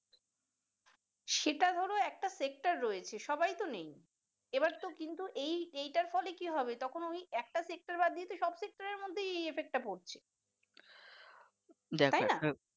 সেটা ধরো একটা sector রয়েছে সবাইতো নেই এইবারতো কিন্তু এইটার ফলে কি হবে তখন ওই একটা sector বাদ দিয়ে সব sector মধ্যেই এই effect টা পড়ছে তাইনা